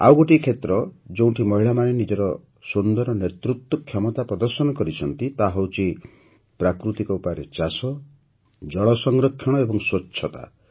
ଆଉ ଗୋଟିଏ କ୍ଷେତ୍ର ଯେଉଁଠି ମହିଳାମାନେ ନିଜର ସୁନ୍ଦର ନେତୃତ୍ୱ କ୍ଷମତା ପ୍ରଦର୍ଶନ କରିଛନ୍ତି ତାହା ହେଉଛି ପ୍ରାକୃତିକ ଉପାୟରେ ଚାଷ ଜଳ ସଂରକ୍ଷଣ ଏବଂ ସ୍ୱଚ୍ଛତା